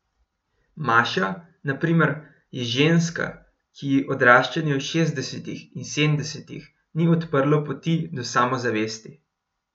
Maša, na primer, je ženska, ki ji odraščanje v šestdesetih in sedemdesetih ni odprlo poti do samozavesti.